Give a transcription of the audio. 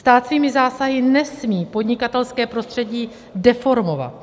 Stát svými zásahy nesmí podnikatelské prostředí deformovat.